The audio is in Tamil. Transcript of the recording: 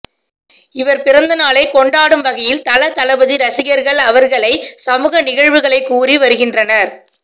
இவர் பிறந்த நாளைக் கொண்டாடும் வகையில் தல தளபதி ரசிகர்கள் அவர்களை சமூக நிகழ்வுகளை கூறி வருகின்றனர்